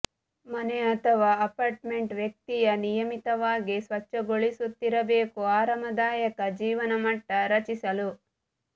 ಮನೆ ಅಥವಾ ಅಪಾರ್ಟ್ಮೆಂಟ್ ವ್ಯಕ್ತಿಯ ನಿಯಮಿತವಾಗಿ ಸ್ವಚ್ಛಗೊಳಿಸುತ್ತಿರಬೇಕು ಆರಾಮದಾಯಕ ಜೀವನಮಟ್ಟ ರಚಿಸಲು